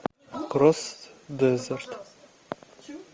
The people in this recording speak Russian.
кросс дезерт